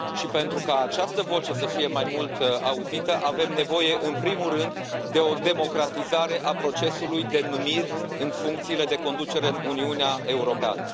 Pentru ca această voce să fie mai mult auzită, avem nevoie în primul rând de o democratizare a procesului de numiri în funcțiile de conducere în Uniunea Europeană.